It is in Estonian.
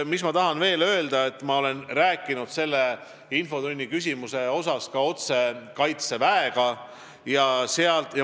Mis ma tahan veel öelda: ma olen rääkinud selle infotunni küsimuse teemal ka otse Kaitseväe inimestega.